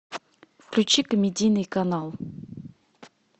включи комедийный канал